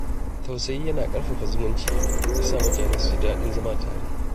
Tausayi yana ƙarfafa zumunci, ya sa mutane su ji daɗin zama tare.